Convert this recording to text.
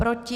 Proti?